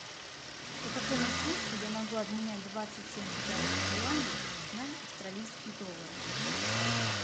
по какому курсу я могу обменять двадцать семь китайских юаней на австралийские доллары